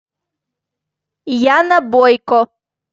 яна бойко